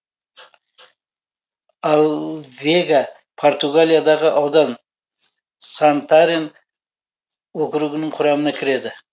алвега португалиядағы аудан сантарен округінің құрамына кіреді